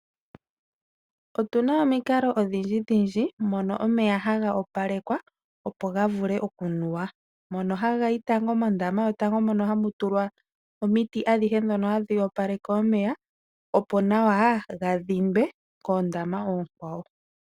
Otuna omikalo odhindji dhindji mono omeya ha ga opalekwa opo ga vule okunuwa. Mono hagayi mondama yotango mono hamu tulwa omiti adhihe ndhono hadhi opaleke omeya , opo nawa ga dhindwe koondama oonkwawo.